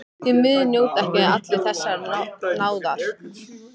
Því miður njóta ekki allir þessarar náðar.